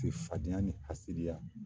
fadenya ni hasidiya